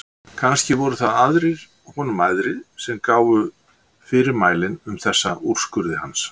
Kannski voru það aðrir honum æðri sem gáfu fyrirmælin um þessa úrskurði hans.